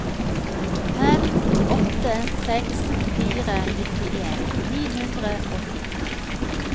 fem åtte seks fire nittien ni hundre og ti